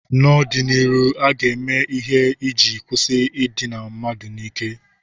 N'ọdịnihu, a ga-eme ihe iji kwụsị idina mmadụ n'ike.